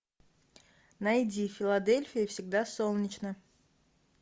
найди в филадельфии всегда солнечно